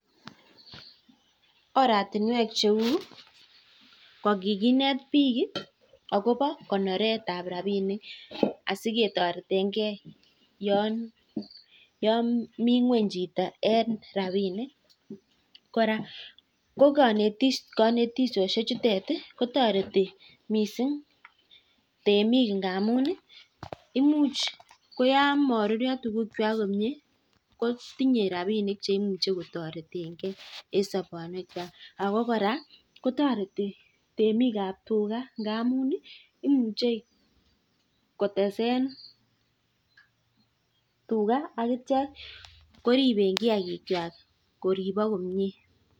Oratinwek cheuu kikinet bik akobo konoret ab rabinik asiketaretekee yamii ngony chito tareti temik yamaruryo minutik akotese tugaa